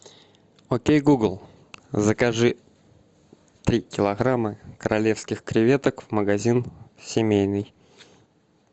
окей гугл закажи три килограмма королевских креветок магазин семейный